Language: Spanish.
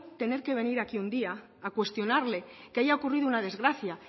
tener que venir aquí un día a cuestionarle que haya ocurrido una desgracia